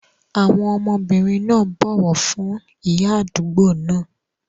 Àwọn ọmọbìnrin náà bọ̀wọ̀ fún ìyá àdúgbò náà.